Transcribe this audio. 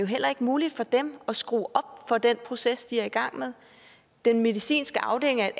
heller ikke muligt for dem at skrue op for den proces de er i gang med den medicinske afdeling er et